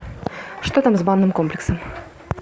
что там с банным комплексом